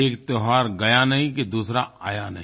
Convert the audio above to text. एक त्योहार गया नहीं कि दूसरा आया नहीं